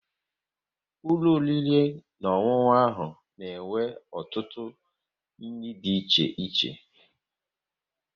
Ulọ oriri na ọṅụṅụ ahụ na-enwe ọtụtụ nri dị iche iche